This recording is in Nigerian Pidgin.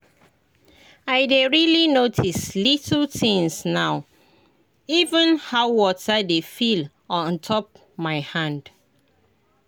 i dey really notice little things now — even how water dey feel on top my hand.